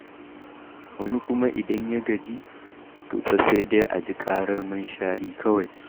Wani kuma idan ya gaji, to fa sai dai a ji ƙarar munshari kawai.